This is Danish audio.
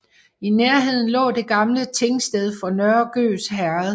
I nærheden lå det gamle tingsted for Nørre Gøs Herred